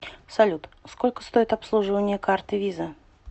салют сколько стоит обслуживание карты виза